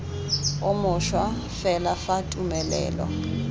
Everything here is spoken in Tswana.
o mošwa fela fa tumelelo